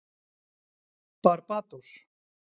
Barbados